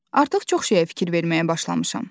Artıq çox şeyə fikir verməyə başlamışam.